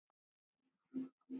Gamlir vinir hittast á ný.